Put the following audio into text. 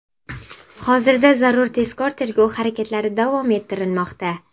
Hozirda zarur tezkor tergov harakatlari davom ettirilmoqda.